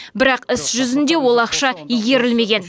бірақ іс жүзінде ол ақша игерілмеген